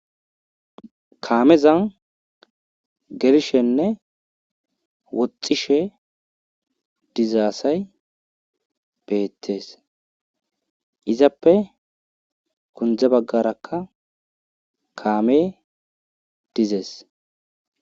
Kaamezan gelishenne woxxishe diza asay beettes izappe gundde baggarakka kaame dizes.